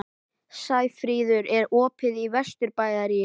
Sæfríður, er opið í Vesturbæjarís?